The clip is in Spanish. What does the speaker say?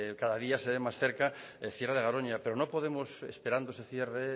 cada día se ve más cerca el cierre de garoña pero no podemos esperando ese cierre